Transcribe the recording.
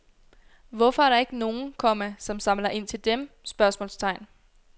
Hvorfor er der ikke nogen, komma som samler ind til dem? spørgsmålstegn